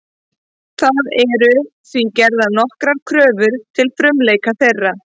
Það eru því gerðar nokkrar kröfur til frumleika þeirra.